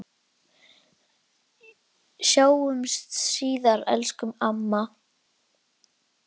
Sjáumst síðar, elsku amma.